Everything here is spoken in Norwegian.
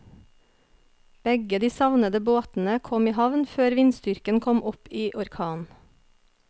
Begge de savnede båtene kom i havn før vindstyrken kom opp i orkan.